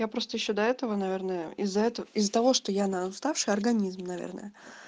я просто ещё до этого наверное из-за этого из-за того что я уставшая организм наверное